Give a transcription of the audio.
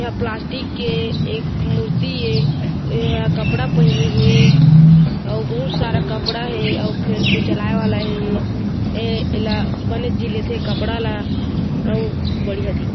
एहा प्लास्टिक के एक मूर्ति ए एहा कपड़ा पहिने हे अउ बहुत सारा कपड़ा हेअउ चलाये वाला हेए एला बने झी लेथे कपड़ा ला अउ बढ़िया दिख--